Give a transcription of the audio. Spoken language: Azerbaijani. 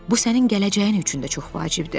Bu sənin gələcəyin üçün də çox vacibdir.